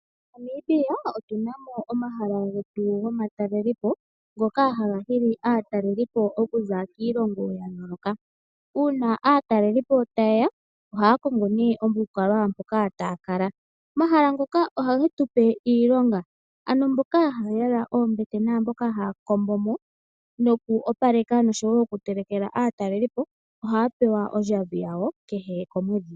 MoNamibia otuna mo omahala getu gomatalelopo ngoka aatalelipo yaza kiilongo ya yooloka. Uuna aatalelipo ta yeya, ohaa kongo omahala mpoka taa kala. Omahala ngoka ohage tu pe iilonga, ano aantu mboka haa kombo mo nokutelekela aatalelipo ohaya pewa ondjambi yawo kehe komwedhi.